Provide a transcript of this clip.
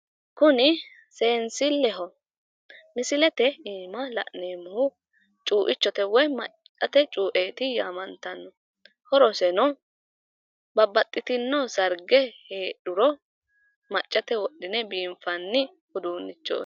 Kuni seensilleho misilete iima la'neemmohu cuuichote woyi maccate cuueeti yaamantanno horoseno babbaxxitino sarge heedhuro maccate wodhine biinfanni uduunnichooti